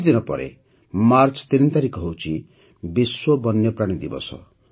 କିଛିଦିନ ପରେ ମାର୍ଚ୍ଚ ୩ ତାରିଖ ହେଉଛି ବିଶ୍ୱ ବନ୍ୟପ୍ରାଣୀ ଦିବସ